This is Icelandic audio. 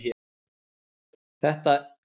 Þetta er vinnandi maður!